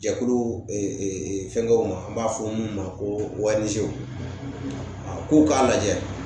Jɛkulu fɛnkɛw ma an b'a fɔ min ma ko k'u k'a lajɛ